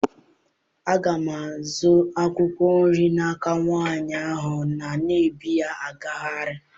Aga m azụ akwụkwọ nri n'aka nwaanyị ahụ na-ebu ya agagharị.